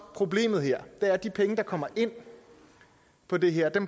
problemet her er at de penge der kommer ind på det her